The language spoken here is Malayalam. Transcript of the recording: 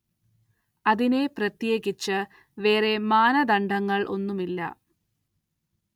അതിനെ പ്രത്യേകിച്ച് വേറേ മാനദണ്ഡങ്ങള്‍ ഒന്നും ഇല്ല